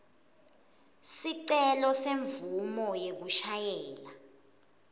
sicelo semvumo yekushayela